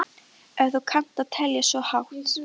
Ef þú kannt að telja svo hátt.